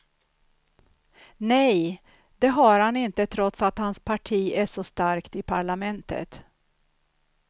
Nej, det har han inte trots att hans parti är så starkt i parlamentet.